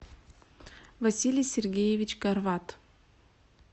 василий сергеевич корват